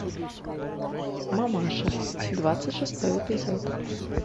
мамаша двадцать шестой эпизод